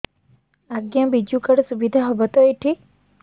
ଆଜ୍ଞା ବିଜୁ କାର୍ଡ ସୁବିଧା ହବ ତ ଏଠି